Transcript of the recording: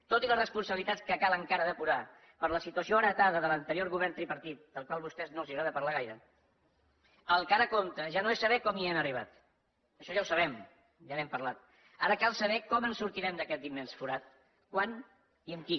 tot i la responsabilitat que cal encara depurar per la situació heretada de l’anterior govern tripartit del qual a vostès no els agrada parlar gaire el que ara compta ja no és saber com hi han arribat això ja ho sabem ja n’hem parlat ara cal saber com en sortirem d’aquest immens forat quan i amb qui